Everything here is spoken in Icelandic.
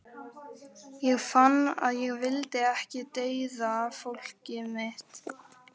Ég fann að ég vildi ekki deyða fólkið mitt.